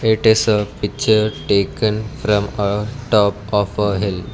it is a picture taken from a top of a hill.